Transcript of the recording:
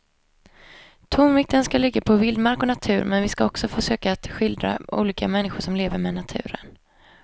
Tonvikten ska ligga på vildmark och natur men vi ska också försöka att skildra olika människor som lever med naturen.